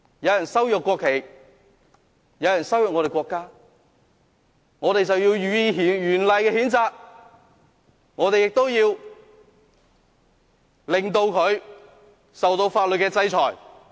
有人羞辱國旗，有人羞辱我們的國家，我們便要予以嚴厲的譴責，我們亦要令他受到法律制裁。